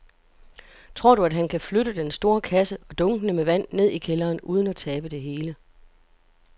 Tror du, at han kan flytte den store kasse og dunkene med vand ned i kælderen uden at tabe det hele?